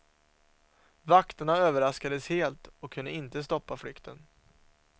Vakterna överraskades helt och kunde inte stoppa flykten.